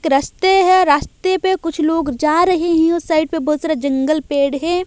करसते हैं रास्ते पे कुछ लोग जा रहे हैं साइट पे बहोत सारा जंगल पेड़ है।